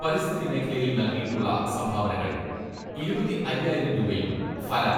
പരിസ്ഥിതി മേഖലയിൽ നൽകിയിട്ടുള്ള സംഭാവനകൾ ഇരുപത്തിഅയ്യായിരം രൂപയും ഫല